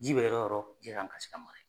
Ji bɛ yɔrɔ yɔrɔ ji kan ka se ka mara.